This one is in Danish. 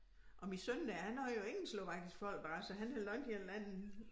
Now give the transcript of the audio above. Og min søn der han har jo ingen slovakisk folkedragt så han havde lånt en eller anden